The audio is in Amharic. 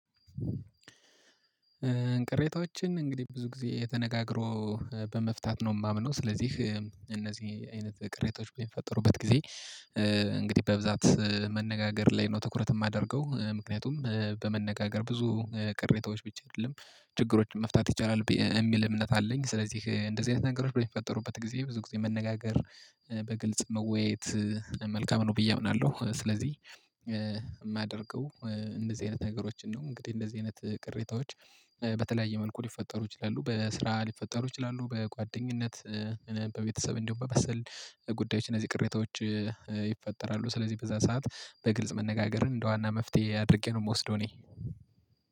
ቅሬታዎችን እንግዲህ ብዙ ጊዜ የተነጋግሮ በመፍታት ነው የማምነው ስለዚህ እነዚህ አይነት ቅሬታዎች በፈጠሩበት ጊዜ። እንግዲህ በብዛት መነጋገር ላይ ነው ትኩረት ማደርገው ምክንያቱም በመነጋገር ብዙ ቅሬታዎች ብቻ አይደለም ችግሮችን መፍታት ይቻላል እሚል እምነት አለኝ ስለዚህ እንደዚህ አይነት ነገሮች በሚፈጠሩበት ጊዜ ብዙ ጊዜ መነጋገር በግልጽ መወያየት መልካም ነው ብዬ አምናለሁ። ስለዚህ ማደርገው እንደዚህ አይነት ነገሮችን ነው እንግዲህ እንደዚህ አይነት ቅሬታዎች። በተለያየ መልኩ ሊፈጠሩ ይችላሉ በስራ ሊፈጠሩ ይችላሉ በጓደኝነት በቤተሰብ እንዲሁም በመሰል ጉዳዮች እነዚህ ቅሬታዎች ይፈጠራሉ። ስለዚህ በዛ ሰዓት በግልጽ መነጋገርን እንደ ዋና መፍትሄ አድርጌ ነው ምወስደው እኔ።